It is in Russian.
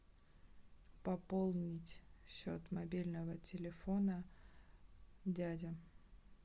пополнить счет мобильного телефона дядя